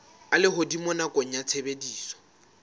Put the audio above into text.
a lehodimo nakong ya tshebediso